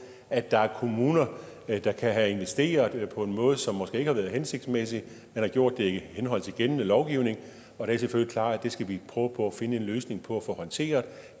at der er kommuner der kan have investeret på en måde som måske ikke har været hensigtsmæssig man har gjort det i henhold til gældende lovgivning og det er selvfølgelig klart at det skal vi prøve på at finde en løsning på at få håndteret